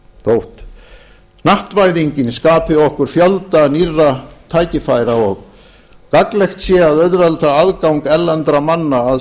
þótt hnattvæðingin skapi okkur fjölda nýrra tækifæra og gagnlegt sé að auðvelda aðgang erlendra manna að